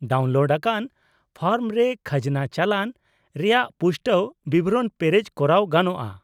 -Download ᱟᱠᱟᱱ form ᱨᱮ ᱠᱷᱟᱡᱽᱱᱟ ᱪᱟᱞᱟᱱ ᱨᱮᱭᱟᱜ ᱯᱩᱥᱴᱟᱹᱣ ᱵᱤᱵᱚᱨᱚᱱ ᱯᱮᱨᱮᱡ ᱠᱚᱨᱟᱣ ᱜᱟᱱᱚᱜᱼᱟ ᱾